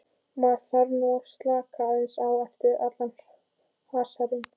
Maður þarf nú að slaka aðeins á eftir allan hasarinn.